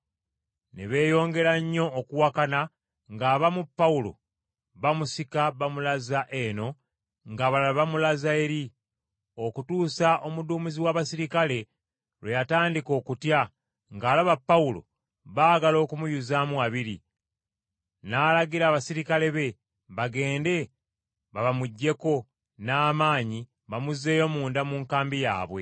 Ne beeyongera nnyo okuwakana ng’abamu Pawulo bamusika bamulaza eno, ng’abalala bamulaza eri. Okutuusa omuduumizi w’abaserikale lwe yatandika okutya ng’alaba Pawulo baagala kumuyuzaamu wabiri, n’alagira abaserikale be bagende bamubaggyeko n’amaanyi bamuzzeeyo munda mu nkambi yaabwe.